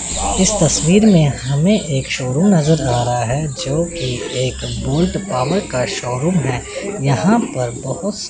इस तस्वीर में हमें एक शोरूम नज़र आ रहा है जो कि एक बोल्ट पॉवर का शोरूम है यहां पर बहुत सारे --